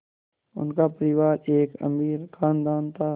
उनका परिवार एक अमीर ख़ानदान था